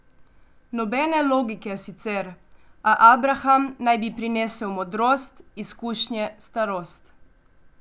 Nobene logike sicer, a abraham naj bi prinesel modrost, izkušnje, starost.